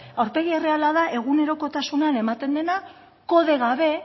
aurpegi erreala da egunerokotasunean ematen dena kode gabe